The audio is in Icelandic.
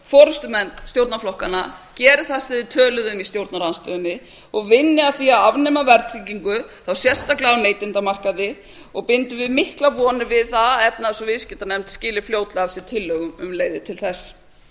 forustumenn stjórnarflokkanna geri það sem þeir töluðu um í stjórnarandstöðunni og vinni að því að afnema verðtryggingu sérstaklega á neytendamarkaði bindum við miklar var við það að efnahags og viðskiptanefnd skili fljótlega af sér tillögum um leiðina til þess